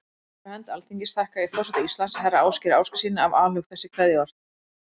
Fyrir hönd Alþingis þakka ég forseta Íslands, herra Ásgeiri Ásgeirssyni, af alhug þessi kveðjuorð.